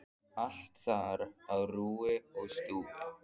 Allt þar á rúi og stúi.